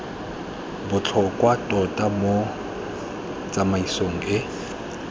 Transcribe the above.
botlhokwa tota mo tsamaisong e